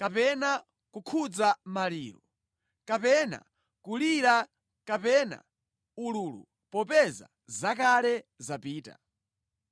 kapena kukhuza maliro kapena kulira kapena ululu popeza zakale zapita.’ ”